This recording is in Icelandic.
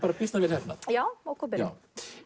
býsna vel heppnað já já